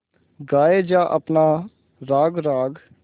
गाये जा अपना राग राग